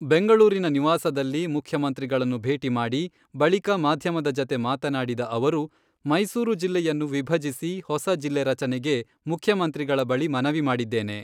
ಬೆಂಗಳೂರಿನ ನಿವಾಸದಲ್ಲಿ ಮುಖ್ಯಮಂತ್ರಿಗಳನ್ನು ಭೇಟಿ ಮಾಡಿ, ಬಳಿಕ ಮಾಧ್ಯಮದ ಜತೆ ಮಾತನಾಡಿದ ಅವರು, ಮೈಸೂರು ಜಿಲ್ಲೆಯನ್ನು ವಿಭಜಿಸಿ ಹೊಸ ಜಿಲ್ಲೆ ರಚನೆಗೆ ಮುಖ್ಯಮಂತ್ರಿಗಳ ಬಳಿ ಮನವಿ ಮಾಡಿದ್ದೇನೆ.